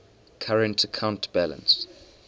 current account balance